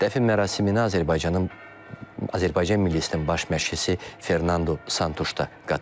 Dəfn mərasiminə Azərbaycanın Azərbaycan milliisinin baş məşqçisi Fernando Santuş da qatılıb.